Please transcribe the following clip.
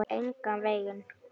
Engan veginn